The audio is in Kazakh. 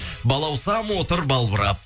балаусам отыр балбырап